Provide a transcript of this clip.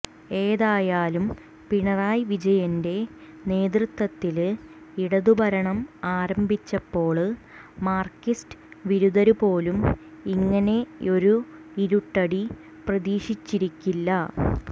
ഏതായാലും പിണറായി വിജയന്റെ നേതൃത്വത്തില് ഇടതുഭരണം ആരംഭിച്ചപ്പോള് മാര്ക്സിസ്റ്റ് വിരുദ്ധര് പോലും ഇങ്ങനെയൊരു ഇരുട്ടടി പ്രതീക്ഷിച്ചിരിക്കില്ല